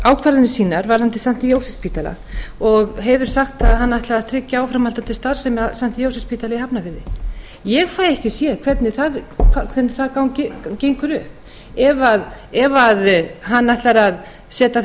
ákvarðanir sínar varðandi st jósefsspítala og hefur sagt að hann ætli að tryggja áframhaldandi starfsemi á st jósefsspítala í hafnarfirði ég fæ ekki séð hvernig það gengur upp ef hann ætlar að setja